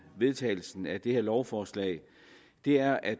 vedtagelsen af det her lovforslag er at